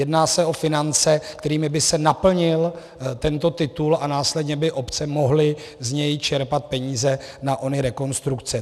Jedná se o finance, kterými by se naplnil tento titul, a následně by obce mohly z něj čerpat peníze na ony rekonstrukce.